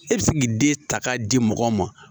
E bɛ se k'i den ta k'a di mɔgɔ ma